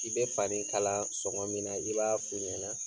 I bɛ fanin kala sɔngɔ min na, i b'a fi ɲɛna